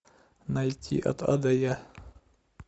найти от а до я